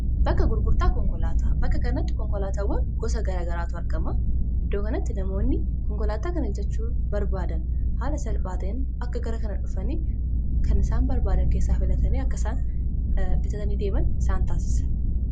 gurgurtaa bakka karnatti konkolaatawwan gosa garagaraatu argama iddoo kanatti namoonni konkolaataa kana bitachuu barbaadan haala salphaateen akka gara kana dhufanii kanisaan barbaadan keessaa filatanii akkasaan bitatanii deeman isaan taasisa